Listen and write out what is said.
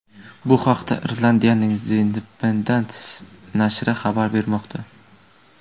Bu haqda Irlandiyaning The Independent nashri xabar bermoqda .